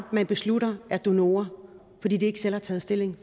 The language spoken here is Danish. beslutter er donorer fordi de ikke selv har taget stilling